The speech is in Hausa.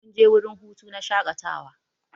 Mun je wurin hutu na shakatawa.